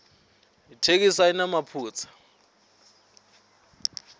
itheksthi ayinamaphutsa